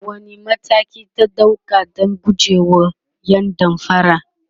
wani mataki ka ɗauka Dan gujewa ƴan damfara?